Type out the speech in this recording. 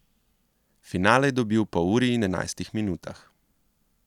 Finale je dobil po uri in enajstih minutah.